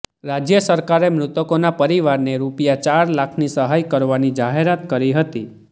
રાજ્ય સરકારે મૃતકોના પરિવારને રૂપિયા ચાર લાખની સહાય કરવાની જાહેરાત કરી હતી